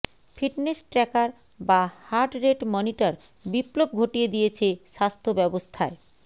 fitness tracker বা heart rate monitor বিপ্লব ঘটিয়ে দিয়েছে স্বাস্থ্য ব্যবস্থায়